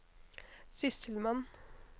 sysselmann